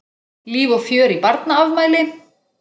Líf og fjör í barnaafmæli.